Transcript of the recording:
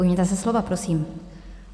Ujměte se slova, prosím.